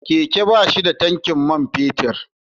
Keke ba shi da tankin man fetur.